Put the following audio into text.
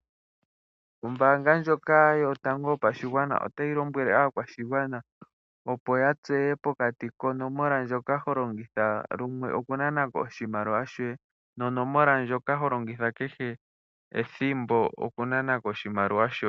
Ombaanga ndyoka yotango yopashigwana otayi lombwele aakwashigwana opo ya tseye pokati konomoola ndjoka holongitha lumwe okunana ko oshimaliwa shoye no nomoola ndjoka holongitha kehe ethimbo okunana ko oshimaliwa shoye.